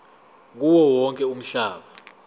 kuwo wonke umhlaba